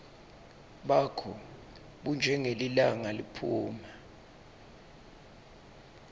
bakho bunjengelilanga liphuma